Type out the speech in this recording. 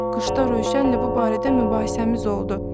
Qışda Rövşənlə bu barədə mübahisəmiz oldu.